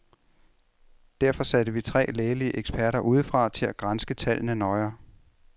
Derfor satte vi tre lægelige eksperter udefra til at granske tallene nøjere.